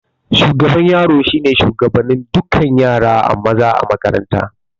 Shugaban yaro shine shugaban dukan yara maza a makaranta